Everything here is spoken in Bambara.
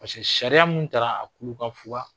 sariya min taara a kurufunfuga